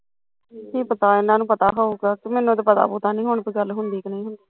ਹਮ ਏਹ ਤਾਂ ਇਹਨਾਂ ਨੂੰ ਪਤਾ ਪੂਤਾ ਹੋਉਗਾ ਮੈਨੂੰ ਤੇ ਪਤਾ ਨੀ ਹੁਣ ਗੱਲ ਗੁੱਲ ਹੁੰਦੀ ਜਾਂ ਨਹੀਂ ਹੁੰਦੀ